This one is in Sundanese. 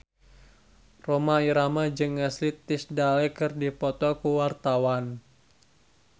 Rhoma Irama jeung Ashley Tisdale keur dipoto ku wartawan